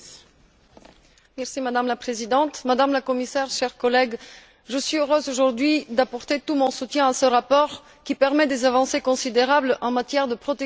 Madame la Présidente, Madame la Commissaire, chers collègues, je suis heureuse, aujourd'hui, d'apporter tout mon soutien à ce rapport qui permet des avancées considérables en matière de protection des droits de l'enfant.